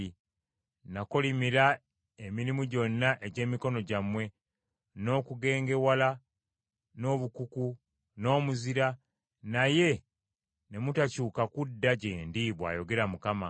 Nakolimira emirimu gyonna egy’emikono gyammwe n’okugengewala n’obukuku, n’omuzira, naye ne mutakyuka kudda gye ndi,’ bw’ayogera Mukama .